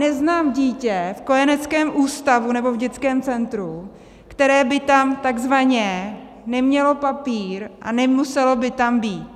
Neznám dítě v kojeneckém ústavu, nebo v dětském centru, které by tam takzvaně nemělo papír a nemuselo by tam být.